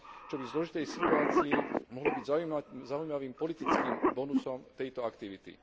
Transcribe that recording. čo by v zložitej situácii mohlo byť zaujímavým politickým bonusom tejto aktivity.